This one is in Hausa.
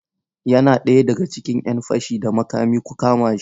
Yana ɗaya daga cikin ‘yan fashi da makami, ku kama shi!